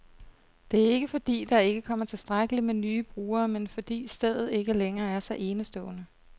Det er ikke, fordi der ikke kommer tilstrækkeligt med nye brugere, men fordi stedet ikke længere er så enestående.